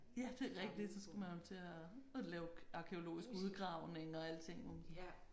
Ja det er rigtigt så skal man jo til og og lave arkæologisk udgravning og alting